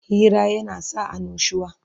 Hira yana sa annushuwa